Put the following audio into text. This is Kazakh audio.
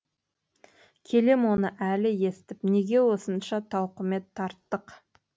келем оны әлі естіп неге осынша тауқымет тарттық